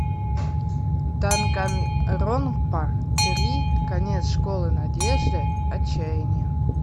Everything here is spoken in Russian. данганронпа три конец школы надежды отчаяние